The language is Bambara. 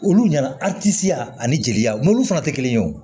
Olu ɲɛna a tisi yan ani jeli mɔbili fana tɛ kelen ye wo